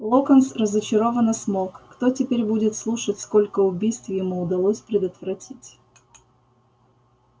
локонс разочарованно смолк кто теперь будет слушать сколько убийств ему удалось предотвратить